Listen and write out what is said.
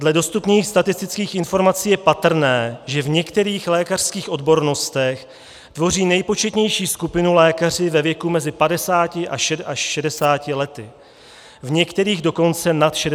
Dle dostupných statistických informací je patrné, že v některých lékařských odbornostech tvoří nejpočetnější skupinu lékaři ve věku mezi 50 až 60 lety, v některých dokonce nad 60 let.